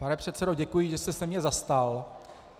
Pane předsedo, děkuji, že jste se mě zastal.